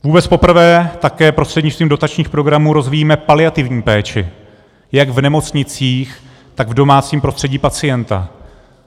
Vůbec poprvé také prostřednictvím dotačních programů rozvíjíme paliativní péči jak v nemocnicích, tak v domácím prostředí pacienta.